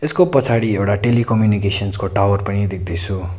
यसकाे पछाडि एउडा टेलिकम्युनिकेसनस् को टावर पनि देख्दै छू।